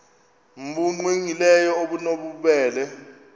nbu cwengileyo obunobubele